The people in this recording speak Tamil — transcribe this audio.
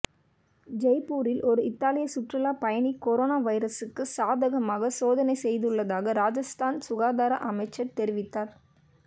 ஜெய்ப்பூரில் ஒரு இத்தாலிய சுற்றுலாப் பயணி கொரோனா வைரஸுக்கு சாதகமாக சோதனை செய்துள்ளதாக ராஜஸ்தான் சுகாதார அமைச்சர் தெரிவித்தார்